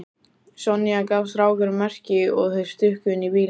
Sonja gaf strákunum merki og þeir stukku inn í bílinn.